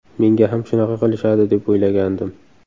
Menga ham shunaqa qilishadi, deb o‘ylagandim.